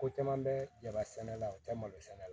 Ko caman bɛ jaba sɛnɛ la o tɛ malo sɛnɛ la